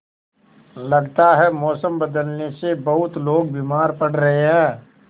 लगता है मौसम बदलने से बहुत लोग बीमार पड़ रहे हैं